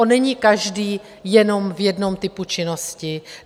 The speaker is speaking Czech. On není každý jenom v jednom typu činnosti.